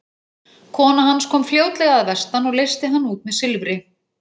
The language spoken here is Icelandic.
Kona hans kom fljótlega að vestan og leysti hann út með silfri.